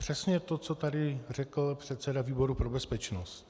Přesně to, co tady řekl předseda výboru pro bezpečnost.